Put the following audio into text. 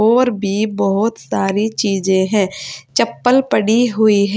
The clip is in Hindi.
और भी बहुत सारी चीजें हैं चप्पल पड़ी हुई है।